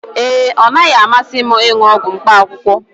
ee, ọ naghị amasị m ịṅụ ọgwụ mkpaakwụkwọ